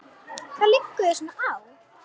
Hvað liggur þér svona á?